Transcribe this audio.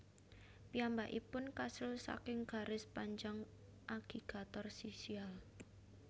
Piyambakipun kasil saking garis panjang agigator sisial